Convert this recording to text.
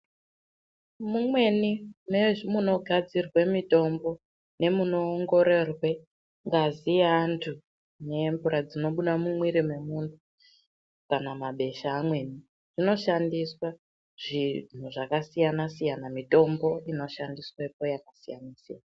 Mumweni memunogadzirwe mitombo, nemunoongororwe ngazi yeantu nemvura dzinobuda mumwiri memuntu kana mabesha amweni, zvinoshandiswa zvakasiyana siyana mitombo inoshandiswepo yakasiyana-siyana.